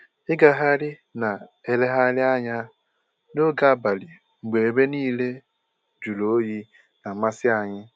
Ịgagharị na elegharị anya n'oge abalị mgbe ebe niile jụrụ oyi na-amasị anyị